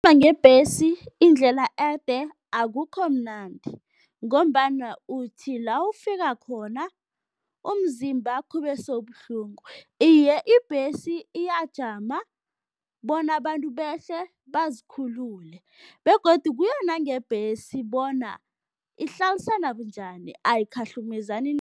ngebhesi indlela ede akukho mnandi ngombana uthi la ufika khona umzimbakho ubese ubuhlungu. Iye, ibhesi iyajama bona abantu behle, bazikhulule begodu kuyo nangebhesi bona ihlalisana bunjani, ayikhahlumezani